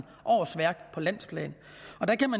årsværk på landsplan